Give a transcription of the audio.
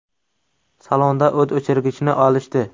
Salonda o‘t o‘chirgichni olishdi.